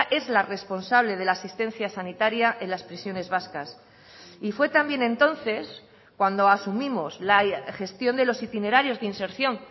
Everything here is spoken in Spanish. es la responsable de la asistencia sanitaria en las prisiones vascas y fue también entonces cuando asumimos la gestión de los itinerarios de inserción